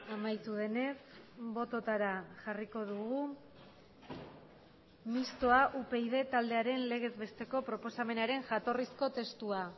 amaitu denez bototara jarriko dugu mistoa upyd taldearen legez besteko proposamenaren jatorrizko testua